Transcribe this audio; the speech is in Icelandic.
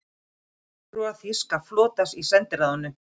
Fulltrúar þýska flotans í sendiráðum